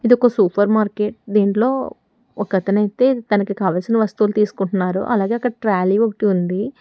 ఇది ఒక supermarket దీంట్లో ఒకతనైతే తనకు కావలసిన వస్తువులు తీసుకుంటున్నారు అలాగే అక్కడ ట్రలీ ఒకటి ఉంది.